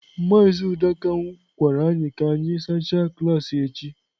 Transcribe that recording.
Mazị Udoka gwara anyị ka anyị sachaa klaasị echi